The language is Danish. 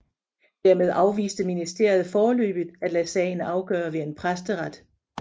Dermed afviste ministeriet foreløbigt at lade sagen afgøre ved en præsteret